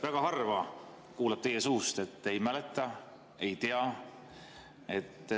Väga harva kuuleb teie suust, et ei mäleta, ei tea.